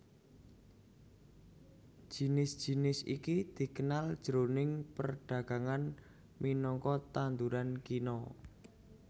Jinis jinis iki dikenal jroning perdagangan minangka tanduran kina